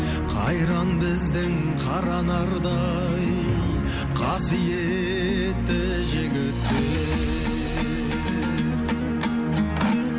қайран біздің қара нардай қасиетті жігіттер